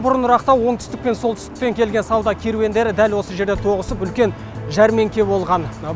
бұрынырақта оңтүстік пен солтүстіктен келген сауда керуендері дәл осы жерде тоғысып үлкен жәрмеңке болған